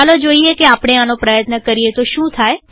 ચાલો જોઈએ કે આપણે આનો પ્રયત્ન કરીએ તો શું થાય